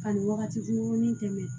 Ka nin wagati kunkurunnin tɛmɛ